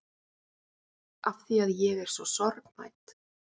Afþvíað ég er svo sorgmædd.